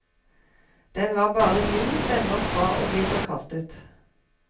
Den var bare ni stemmer fra å bli forkastet.